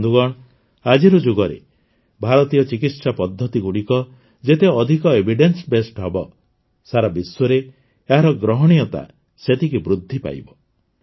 ବନ୍ଧୁଗଣ ଆଜିର ଯୁଗରେ ଭାରତୀୟ ଚିକିତ୍ସା ପଦ୍ଧତିଗୁଡ଼ିକ ଯେତେ ଅଧିକ ଏଭିଡେନ୍ସବେସଡ୍ ହେବ ସାରା ବିଶ୍ୱରେ ଏହାର ଗ୍ରହଣୀୟତା ସେତିକି ବୃଦ୍ଧି ପାଇବ